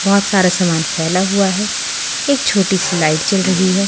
बहुत सारा सामान फैला हुआ है एक छोटी सी लाइट जल रही है।